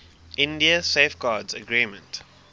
india safeguards agreement